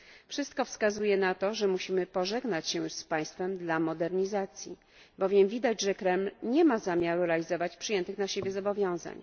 Wszystko wskazuje na to, że musimy pożegnać się z państwem dla modernizacji, bowiem widać, że Kreml nie ma zamiaru realizować przyjętych na siebie zobowiązań.